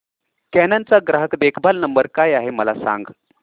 canon चा ग्राहक देखभाल नंबर काय आहे मला सांग